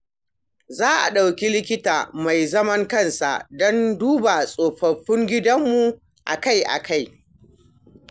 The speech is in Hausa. Za a ɗauki likita mai zaman kansa don duba tsofaffin gidanmu akai-akai.